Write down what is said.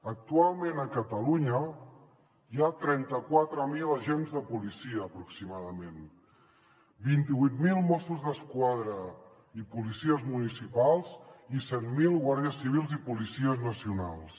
actualment a catalunya hi ha trenta quatre mil agents de policia aproximadament vint vuit mil mossos d’esquadra i policies municipals i set mil guàrdies civils i policies nacionals